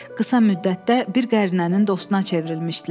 Qısa müddətdə bir qərinənin dostuna çevrilmişdilər.